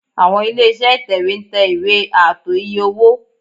Àwọn ilé-iṣẹ́ Ìtẹ̀wé ń tẹ ìwé ààtò iye-owó